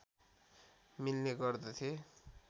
मिल्ने गर्दथे